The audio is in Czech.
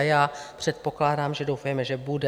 A já předpokládám, že doufejme, že bude.